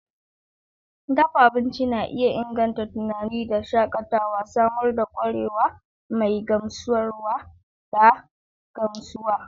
Dafa abinci na iya inganta tunani da shakatawa, samar da kwarewa mai gamsarwa da gamsuwa.